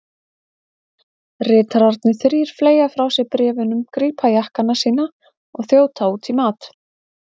Ritararnir þrír fleygja frá sér bréfunum, grípa jakkana sína og þjóta út í mat.